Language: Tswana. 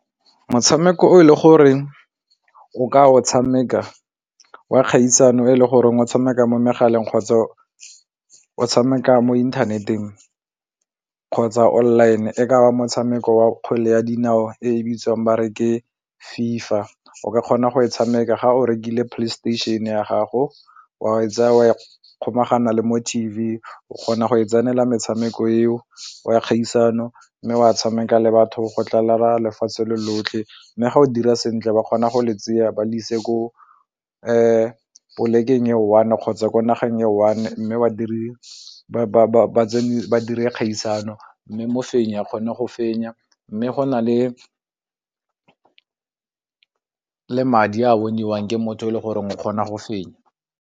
Motshameko o e le goreng o ka o tshameka wa kgaisano e le goreng o tshameka mo megaleng kgotsa o tshameka mo inthaneteng kgotsa online-e ka wa motshameko wa kgwele ya dinao e bitsang ba re ke FIFA, o ka kgona go e tshameka ga o rekile Playstation ya gago wa e tsaya o e kgolagano le mo T_V o kgona go e tsenela metshameko eo wa kgaisano mme wa tshameka le batho go tlala lefatshe lotlhe mme ga o dira sentle ba kgona go le tseya ba ise ko polekeng e one kgotsa ko nageng e one mme wa dire badiri kgaisano mme mofenyi a kgone go fenya mme go na le madi a boniwang ke motho e le goreng o kgona go fenya.